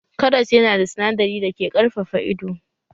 Karas yana da sinadari dake ƙarfafa ido